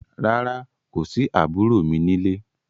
Rárá, kò sí àbúrò mi ní lé.